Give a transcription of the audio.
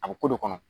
A bɛ ko de kɔnɔ